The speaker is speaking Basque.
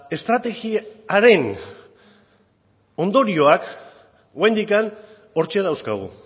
estrategiaren ondorioak oraindik hortxe dauzkagu